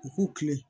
U k'u kilen